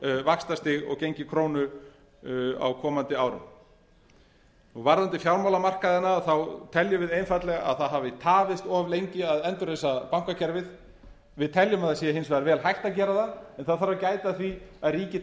vaxtastig og gengi krónu á komandi árum varðandi fjármálamarkaðina þá teljum við einfaldlega að það hafi tafist of lengi að endurreisa bankakerfið við teljum hins vegar að það sé vel hægt að gera það en það þarf að gæta að því að ríkið